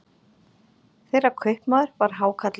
Þeirra kaupmaður var hákarlinn